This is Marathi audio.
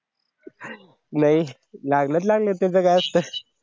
नाही लागलं तर लागल त्याचं काय असतं